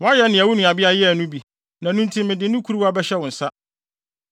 Woayɛ nea wo nuabea yɛɛ no bi; na ɛno nti mede ne kuruwa bɛhyɛ wo nsa.